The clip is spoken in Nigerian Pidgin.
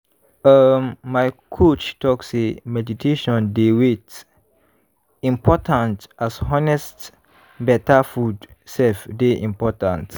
um my coach talk say meditation dey wait! important as honest better food sef dey important.